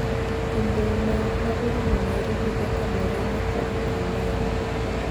to boma ma orumo Nairobi kaka Murang'a kod Ukambani.